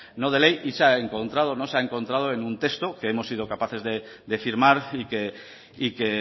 no de ley y se ha encontrado en un texto que hemos sido capaces de firmar y que